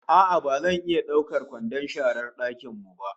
A'a ba zan iya daukar kwandon sharar dakin mu ba